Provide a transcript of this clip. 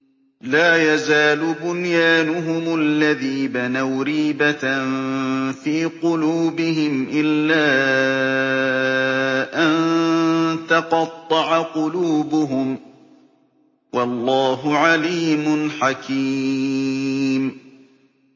لَا يَزَالُ بُنْيَانُهُمُ الَّذِي بَنَوْا رِيبَةً فِي قُلُوبِهِمْ إِلَّا أَن تَقَطَّعَ قُلُوبُهُمْ ۗ وَاللَّهُ عَلِيمٌ حَكِيمٌ